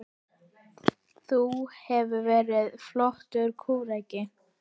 Þú hefðir verið flottur kúreki.